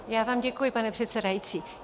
Já vám děkuji, pane předsedající.